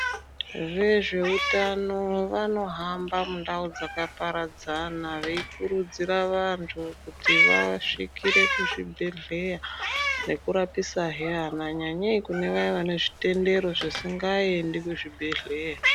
Vezveutano vanohamba mundau dzakaparadzana veikurudzira vantu kuti vasvikire kuzvibhedhleya nekurapisahe ana, nyanyei kune vaya vane zvitendero zvisingaendi kuzvibhedhleya.